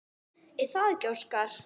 Er það ekki Óskar?